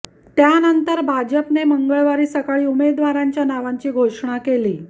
त्यानंतर भाजपने मंगळवारी सकाळी उमेदवारांच्या नावांची घोषणा केली